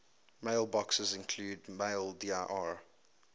mailboxes include maildir